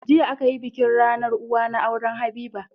Jiya akayi bikin rAnar uwa na auren habiba